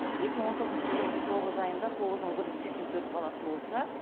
екі мың он тоғызыншы жылдың тоғыз айында тоғыз мың бір жүз сексен төрт бала туылса